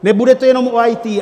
Nebude to jenom o IT.